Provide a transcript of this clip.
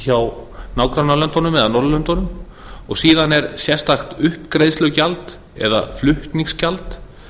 hjá nágrannalöndunum eða norðurlöndum og síðan er sérstakt upptökugjald eða flutningsgjald